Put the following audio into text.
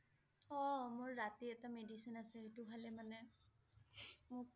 অ' মোৰ ৰাতি এটা medicine আছে সেইটো খালে মানে মোক